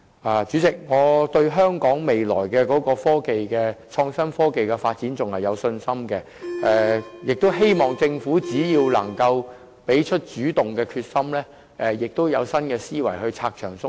代理主席，我對香港未來的創新科技發展仍然有信心，亦希望政府能展現主動的決心，並以新思維拆牆鬆綁。